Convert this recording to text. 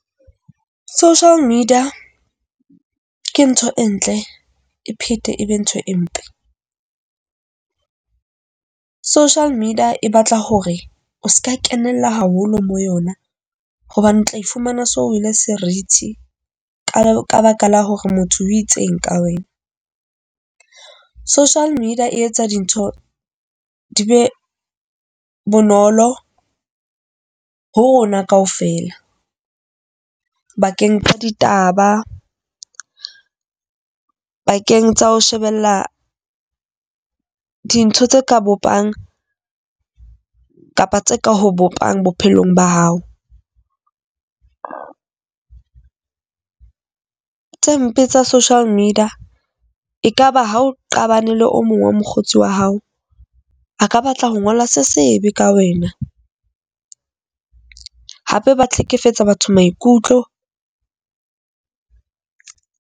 Social media ke ntho e ntle, e phete ebe ntho e mpe. Social media e batla hore o seka kenella haholo mo yona hobane o tla fumana so wele seriti ka ka baka la hore motho o itseng ka wena. Social media e etsa dintho di be bonolo ho rona kaofela, bakeng tsa ditaba bakeng tsa ho shebella dintho tse ka bopang kapa tse ka ho bopang bophelong ba hao. Tse mpe tsa social media ekaba ha o qabane le o mong wa mokgotsi wa hao. A ka batla ho ngola se sebe ka wena, hape ba hlekefetsa batho maikutlo.